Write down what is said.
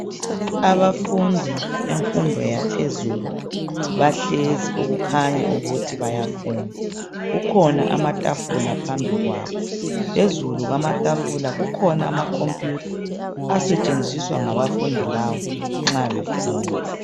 Abafundi bemfundo yaphezulu bahlezi okukhanya ukuthi bayafunda kukhona amatafula phambi kwabo phezulu kwamatafula kukhona amakhompuyutha asetshenziswa ngabafundi laba nxa befunda.